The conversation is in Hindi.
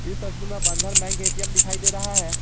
इस तस्वीर में बंधन बैंक ए_टी_एम दिखाई दे रहा है।